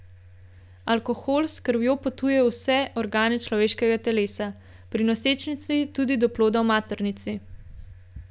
Alkohol s krvjo potuje v vse organe človeškega telesa, pri nosečnici tudi do ploda v maternici.